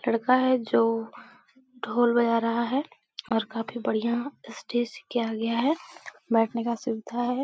लड़का है जो ढोल बजा रहा है और काफी बढ़िया स्टेज किया गया है । बैठने का सुविधा है ।